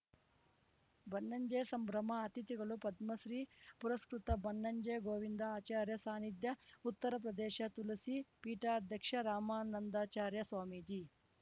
ಬನ್ನಂಜೆ ಸಂಭ್ರಮ ಅತಿಥಿಗಳು ಪದ್ಮಶ್ರೀ ಪುರಸ್ಕೃತ ಬನ್ನಂಜೆ ಗೋವಿಂದ ಆಚಾರ್ಯ ಸಾನಿಧ್ಯ ಉತ್ತರಪ್ರದೇಶ ತುಲಸೀ ಪೀಠಾಧ್ಯಕ್ಷ ರಾಮಾನಂದಾಚಾರ್ಯ ಸ್ವಾಮೀಜಿ